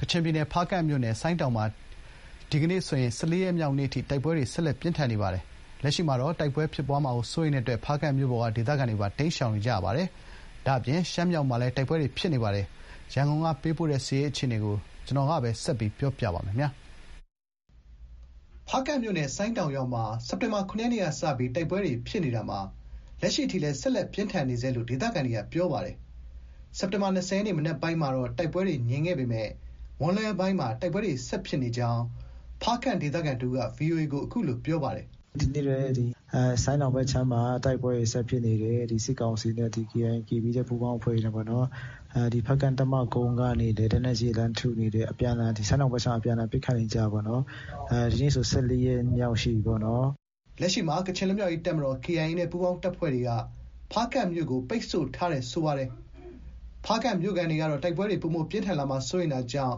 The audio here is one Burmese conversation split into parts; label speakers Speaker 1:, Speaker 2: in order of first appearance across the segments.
Speaker 1: ကချင်ပြည်နယ် ဖားကန့်မြို့နယ် ဆိုင်းတောင်မှာ စက်တင်ဘာ ၂၀ ရက်နေ့ ၁၄ရက်မြောက်နေ့အထိ တိုက်ပွဲတွေ ဆက်လက် ပြင်းထန်နေပါတယ်။ ဖားကန့်မြို့ပေါ်မှာလည်း တိုက်ပွဲဖြစ်ပွားမှာ စိုးရိမ်လို့ ဒေသခံတွေ တိမ်းရှောင်တာတွေရှိနေကြပါတယ်။ ရှမ်းမြောက်မှာလည်း တိုက်ပွဲတွေ ဖြစ်နေပါတယ်။ စစ်ရေးသတင်းကို ရန်ကုန်က ပေးပို့ထားပါတယ်။ ဖားကန့်မြို့နယ် ဆိုင်းတောင်ရွာမှာ စက်တင်ဘာ ၇ရက်နေ့က စတင်ပြီး တိုက်ပွဲတွေဖြစ်ပွားခဲ့ရာမှာ လက်ရှိတိုင် ဆက်လက်ပြင်းထန်နေဆဲရှိနေပါတယ်။ စက်တင်ဘာ ၂၀ ရက်နေ့ မနက်ပိုင်းမှာတော့ တိုက်ပွဲတွေ ငြိမ်သက်ခဲ့ပေမယ့် မွန်းလွဲပိုင်းမှာ တိုက်ပွဲတွေ ဆက် ဖြစ်ကြောင်း ဖားကန့်ဒေသခံတဦးက VOA ကို အခုလို ပြောပါတယ်။ “ ဒီနေ့လည်း ဆိုင်းတောင်ဘက်အခြမ်းမှာ တိုက်ပွဲတွေ ဆက်ဖြစ်နေတယ်။ ဒီ စစ်ကောင်စီနဲ့ KIA၊ KPDF ပူးပေါင်းအဖွဲ့တွေနဲ့ပေ့ါနော်။ ဖားကန့်တပ်မကုန်းကနေလည်း လက်နက်ကြီးတွေ လှမ်းထုနေတယ်။ ဆိုင်းတောင်ဘက်ခြမ်းမှာ အပြန်အလှန် ပစ်ခတ်နေကြတာပေါ့နော်။ ဒီနေ့ဆို ၁၄ရက်မြောက်ရှိပြီပေါ့နော်။” လက်ရှိမှာ ကချင်လွတ်မြောက်ရေး တပ်မတော် (KIA) နဲ့ ပူးပေါင်းတပ်ဖွဲ့တွေက ဖားကန့်မြို့ကို ပိတ်ဆို့ထားပြီး ဖားကန့်မြို့ခံတွေကတော့ တိုက်ပွဲတွေ ပိုမိုပြင်းထန်လာမှာကို စိုးရိမ်တာကြောင့်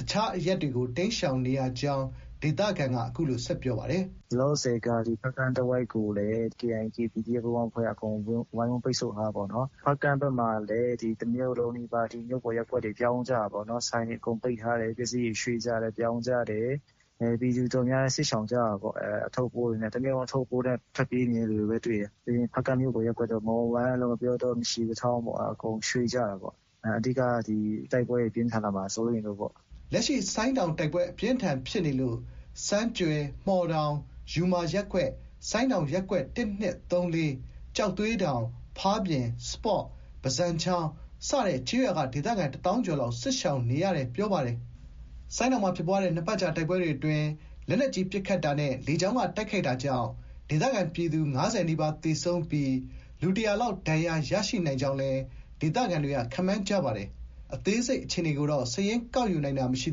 Speaker 1: တခြားအရပ်ကို တိမ်းရှောင်နေကြောင်း ဆက်ပြောပါတယ်။ “ လောလောဆည်က ဖားကန့်တဝိုက်ကိုလည်း KIA၊ KPDF အဖွဲ့က ဝိုင်းဝန်းပိတ်ဆို့ထားတာပေါ့နော်။ ဖားကန့်ဘက်မှာလည်း တမြို့လုံးနီးပါးထိ မြို့ပေါ်ရပ်ကွက်တွေ ပြောင်းကြတာပေါ့နော်။ ဆိုင်တွေအကုန်ပိတ်ထားတယ်။ ပစ္စည်းတွေ ရွှေ့ကြတယ်။ ပြောင်းကြတယ်။ ပြည်သူအတော်များများ စစ်ရှောင်ကြတာပေါ့။ အထုပ်အပိုးတွေနဲ့။ တမြို့လုံးအထုပ်အပိုးနဲ့ ထွက်ပြေးနေကြတာပဲတွေ့တယ်။ ဖားကန့်မြို့ပေါ်ရပ်ကွက်တွေ မှော်ဝမ်းတို့၊ မရှီကထောင်တို့၊ ငှက်ပျောတောတို့ အကုန်ရွှေ့ကြတာပေါ့။ အဓိကက တိုက်ပွဲတွေ ပြင်းထန်လာမှာ စိုးရိမ်လို့ပေါ့။” လက်ရှိမှာ ဆိုင်းတောင်တိုက်ပွဲ ပြင်းထန်ပြီးနောက် ဆန်းကြွယ်၊ မှော်တောင်၊ ယူမာရပ်ကွက်၊ ဆိုင်းတောင်ရပ်ကွက် ၁၊ ၂၊ ၃၊ ၄ ၊ ကျောက်သွေးတောင်၊ ဖားပြင်၊ စပေါ့၊ ဘဇံချောင် စတဲ့ ကျေးရွာကဒေသခံ တသောင်းကျော်လောက် စစ်ရှောင်နေပါတယ်။ ဆိုင်းတောင်မှာဖြစ်ပွားတဲ့ သီတင်းနှစ်ပတ်ကြာ တိုက်ပွဲအတွင်းလက်နက်ကြီး ပစ်ခတ်တာနဲ့ လေကြောင်းက တိုက်ခိုက်တာကြောင့် ဒေသခံပြည်သူ ၅၀ နီးပါးသေဆုံးပြီး နဲ့ လူ ၁၀၀ခန့် ဒဏ်ရာရရှိနိုင်ကြောင်းလည်း ခန့်မှန်းထားပါတယ်။ အသေးစိတ်အခြေအနေကို စာရင်းကောက်ယူနိုင်တာမရှိ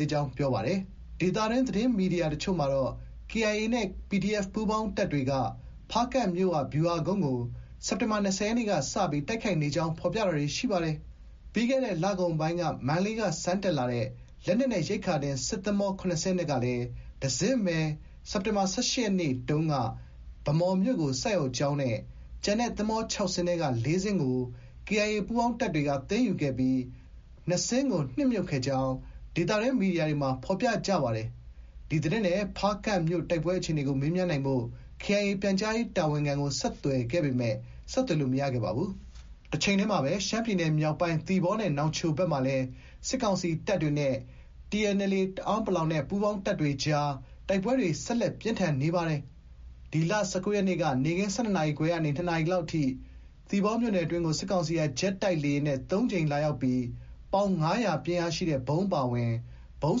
Speaker 1: သေးကြောင်းလည်း ပြောပါတယ်။ ဒေသတွင်း သတင်းမီဒီယာတချို့မှာတော့ KIA ၊ KPDF ပူးပေါင်းတပ်တွေက ဖားကန့်မြို့ရှိ ဗျူဟာကုန်းကို စက်တင်ဘာ ၂၀ ရက်နေ့မှာ စတင်တိုက်ခိုက်နေကြောင်း ဖော်ပြတာတွေ ရှိပါတယ်။ စက်တင်ဘာ ၁၈ ရက်နေ့မှာတော့ ပြီးခဲ့တဲ့ လကုန်ပိုင်းက မန္တလေးက ဆန်တက်လာတဲ့ လက်နက်နဲ့ ရိက္ခာတင် စစ်သင်္ဘော၇စင်းအနက်က တစင်းသာ ဗန်းမော်မြို့ကို ဆိုက်ရောက်ကြောင်းနဲ့ ကျန် သင်္ဘော ၆စင်းမှာ ၄စင်းကို KIA ပူးပေါင်းတပ်တွေက သိမ်းယူခဲ့ပြီး ၂စင်းကို နစ်မြုပ်ခဲ့ကြောင်း သတင်းမီဒီယာတွေမှာဖော်ပြကြပါတယ်။ ဒီသတင်းနဲ့ ဖားကန့်မြို့ တိုက်ပွဲအခြေအနေကို မေးမြန်းနိုင်ဖို့ KIA ပြန်ကြားရေးတာဝန်ခံကို ဆက်သွယ်ခဲ့ပေမဲ့ ဆက်သွယ်လို့ မရခဲ့ပါဘူး။ တချိန်တည်းမှာတော့ ရှမ်းပြည်နယ် မြောက်ပိုင်း သီပေါနဲ့ နောင်ချိုဘက်မှာလည်း စစ်ကောင်စီနဲ့ တအာင်း အမျိုးသား လွတ်မြောက်ရေး တပ်မတော် (TNLA) ပူးပေါင်းတပ်တွေအကြား တိုက်ပွဲတွေ ဆက်လက် ပြင်းထန်နေပါတယ်။ စက်တင်ဘာ ၁၉ရက်နေ့က နေ့ခင်း ၁၂နာရီခွဲကနေ ၂နာရီခန့်အထိ သီပေါမြို့နယ်အတွင်းကို စစ်ကောင်စီက ဂျက်တိုက်လေယာဉ်နဲ့ ၃ကြိမ်လာရောက်ပြီး ပေါင် ၅၀၀ဗုံးအပါအဝင် ဗုံး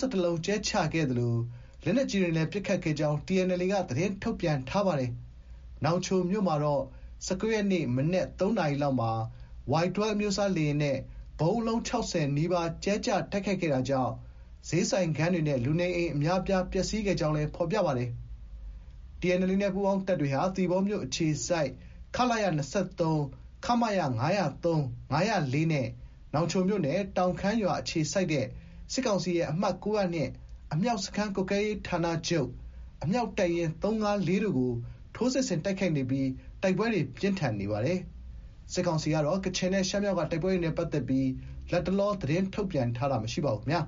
Speaker 1: ၁၁လုံးကြဲချခဲ့သလို လက်နက်ကြီးတွေနဲ့လည်း ပစ်ခတ်ခဲ့ကြောင်း TNLA က သတင်းထုတ်ပြန်ပါတယ်။ နောင်ချိုမြို့မှာတော့ ၁၉ရက်နေ့ မနက် ၃နာရီခန့်မှာ Y12 လေယာဉ်နဲ့ ဗုံးအလုံး ၆၀နီးပါး ကြဲချတိုက်ခိုက်ခဲ့တာကြောင့် ဈေးဆိုင်ခန်းတွေနဲ့ လူနေအိမ်အများအပြား ပျက်စီးခဲ့ကြောင်းလည်း ဖော်ပြပါတယ်။ TNLA နဲ့ ပူးပေါင်းတပ်တွေဟာ သီပေါမြို့ အခြေစိုက် ခလရ ၂၃၊ ခမရ ၅၀၃၊ ၅၀၄ နဲ့ နောင်ချိုမြို့နယ် တောင်ခမ်းရွာ အခြေစိုက်တဲ့ စစ်ကောင်စီရဲ့ အမှတ် ၉၀၂ အမြောက်စခန်းကွပ်ကဲရေးဌာနချုပ် ( မစခ- ၉၀၂)၊ အမြောက်တပ်ရင်း ၃၅၄တို့ကို ထိုးစစ်ဆင်တိုက်ခိုက်နေပြီး တိုက်ပွဲတွေ ပြင်းထန်နေတာဖြစ်ပါတယ်။ ကချင်နဲ့ ရှမ်းမြောက် တိုက်ပွဲ သတင်းတွေနဲ့ ပတ်သက်ပြီး စစ်ကောင်စီကတော့ လတ်တလော ထုတ်ပြန်တာမျိုး မရှိပါဘူး။